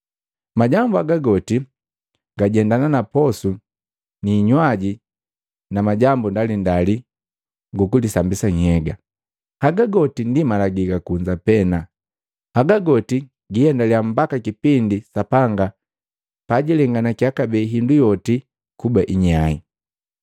Majambu haga goti gajendana na posu ni hinywaji na majambu ndalindali gukulisambisa nhyega. Haga goti ndi malagi ga kunza pena; hagagoti giiendalia mbaka kipindi Sapanga pajilenganakiya kabee hindu yoti kuba inyai.